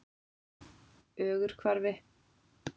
Ögurhvarfi